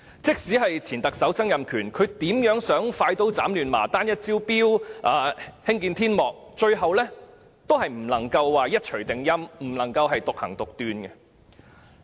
即使前特首曾蔭權希望快刀斬亂麻，單一招標、興建天幕，最後也無法一錘定音，獨斷獨行。